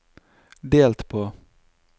delt på